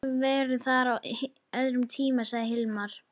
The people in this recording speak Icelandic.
Ég hef verið þar á öðrum tíma, sagði Hilmar.